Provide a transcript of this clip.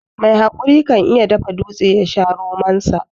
Mai haƙuri kan iya dafa dutse yasha romon ta.